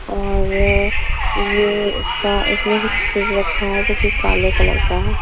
और ये इसका इसमें से एक फ्रिज रखा है जोकि काले कलर का है।